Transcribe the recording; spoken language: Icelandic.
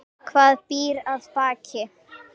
Hvað býr að baki?